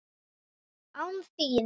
ÁN ÞÍN!?